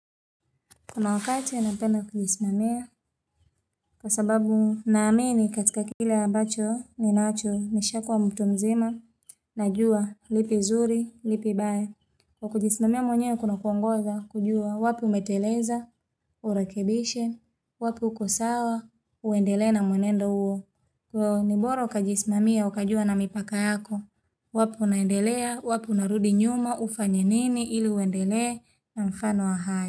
Kuna wakati napenda kujisimamia kwa sababu naamini katika kile ambacho ninacho nishakwa mtu mzima na jua lipi zuri, lipi baya. Kwa kujisimamia mwenyewe kuna kuongoza kujua wapi umeteleza, urekebishe, wapi uko sawa, uendelee na mwenendo huo. Kwa hiyo ni bora ukajisimamia ukajua na mipaka yako, wapi unaendelea, wapi unarudi nyuma, ufanye nini ili uendelee na mfano wa hayo.